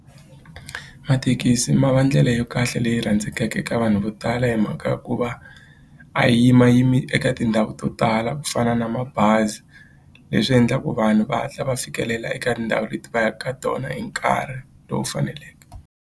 Mathekisi ma va ndlela ya kahle leyi rhandzekaka eka vanhu vo tala hi mhaka ya ku va a yi yimayimi eka tindhawu to tala ku fana na mabazi leswi endlaku vanhu va hatla va fikelela eka tindhawu leti va yaka ka tona hi nkarhi lowu faneleke.